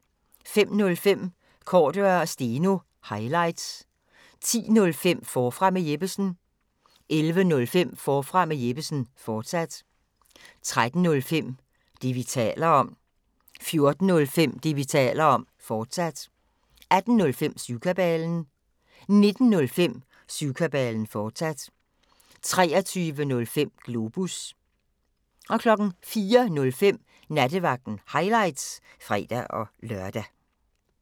05:05: Cordua & Steno – highlights 10:05: Forfra med Jeppesen 11:05: Forfra med Jeppesen, fortsat 13:05: Det, vi taler om 14:05: Det, vi taler om, fortsat 18:05: Syvkabalen 19:05: Syvkabalen, fortsat 23:05: Globus 04:05: Nattevagten – highlights (fre-lør)